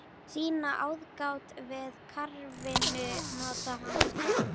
Sýna aðgát við garðvinnu, nota hanska.